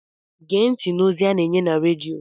Gee ntị n'ozi a na-enye na redio!